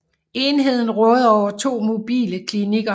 Enheden råder over to mobile klinikker